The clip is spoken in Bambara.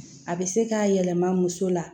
A bɛ se k'a yɛlɛma muso la